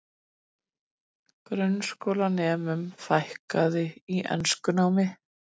Grunnskólanemum fækkar í enskunámi